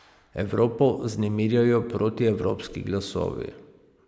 Evropo vznemirjajo protievropski glasovi.